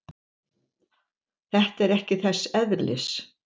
Þetta er ekki þess eðlis.